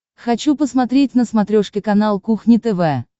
хочу посмотреть на смотрешке канал кухня тв